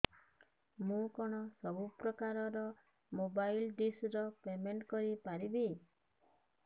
ମୁ କଣ ସବୁ ପ୍ରକାର ର ମୋବାଇଲ୍ ଡିସ୍ ର ପେମେଣ୍ଟ କରି ପାରିବି